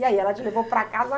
E aí, ela te levou para casa